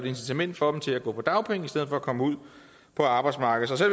incitament for dem til at gå på dagpenge i stedet for at komme ud på arbejdsmarkedet så